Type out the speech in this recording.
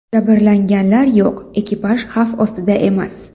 Jabrlanganlar yo‘q, ekipaj xavf ostida emas.